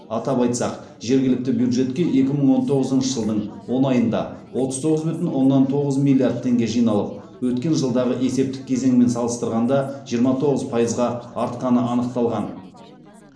атап айтсақ жергілікті бюджетке екі мың он тоғызыншы жылдың он айында отыз тоғыз бүтін оннан тоғыз миллиард теңге жиналып өткен жылдағы есептік кезеңмен салыстырғанда жиырма тоғыз пайызға артқаны анықталған